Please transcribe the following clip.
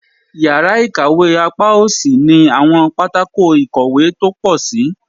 Yara ikawe apa osi ni awọn patako ikowe to po sii